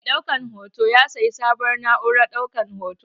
Mai ɗaukan hoton ya sayi sabuwar na'urar ɗaukan hoto.